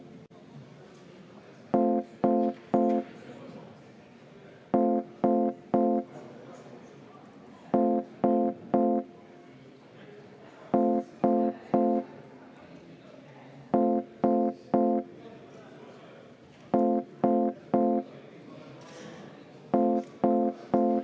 V a h e a e g